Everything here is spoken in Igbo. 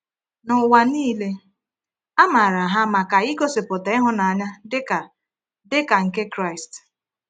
N’ụwa niile, a maara ha maka igosipụta ịhụnanya dịka dịka nke Kraịst.